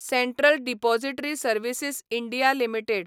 central depository services India limited